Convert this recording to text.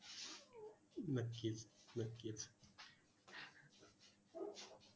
नक्कीच.